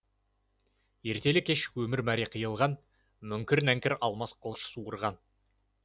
ертелі кеш өмір мәре қиылған мүңкір нәңкір алмас қылыш суырған